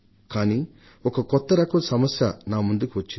కానీ ఒక కొత్త రకం సమస్య నా ముందుకు వచ్చింది